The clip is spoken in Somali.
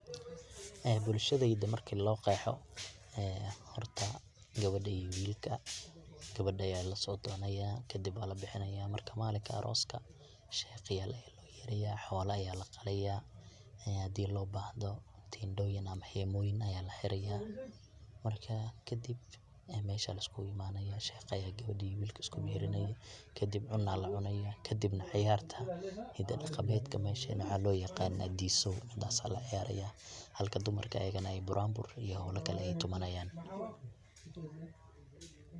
Bulshadayda marki loo qexo ee horta gabadha iyo wilka gabadha aya lasodoonaya kadib waa labixinaya marka malinka aroska sheikh aya loo yeraya, xola aya laqalaya, hadi loo bahdo tendhoyin ama hemoyin aya laxiraya, marka kadib mesha aya la iskugu imanayana sheikha aya gabadhi iyo wilki isku meherinaya kadib cuna lacunaya kadibna cayarta hida dhaqameedka meshan waxaa loo yaqana diisow midas aya laciyaraya halka dumarka ayagana buranbur iyo howla kale ay tumanyan.